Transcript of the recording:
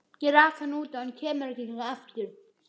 Ég rak hann út og hann kemur ekki hingað aftur.